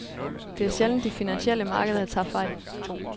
Det er sjældent, de finansielle markeder tager fejl.